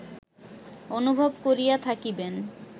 অনুভব করিয়া থাকিবেন